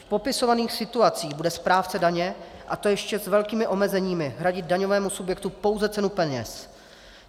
V popisovaných situacích bude správce daně, a to ještě s velkými omezeními, hradit daňovému subjektu pouze cenu peněz.